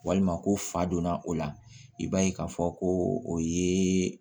Walima ko fa donna o la i b'a ye k'a fɔ ko o ye